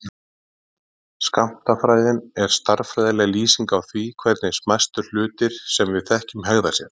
Skammtafræðin er stærðfræðileg lýsing á því hvernig smæstu hlutir sem við þekkjum hegða sér.